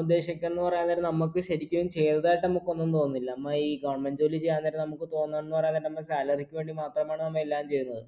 ഉദ്ദേശിക്കുന്ന് പറയാൻ നേരം നമ്മക്ക് ശരിക്കും ചെയ്തതായിട്ട് നമുക്കൊന്നും തോന്നുന്നില്ല നമ്മ ഈ government ജോലി ചെയ്യാൻ നേരം നമക്ക് തോന്നുന്ന് പറയാൻ നേരം നമ്മ salary ക്ക് വേണ്ടി മാത്രമാണ് നമ്മളെല്ലാം ചെയ്യുന്നത്